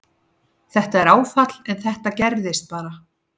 Þetta er áfall en þetta gerist bara.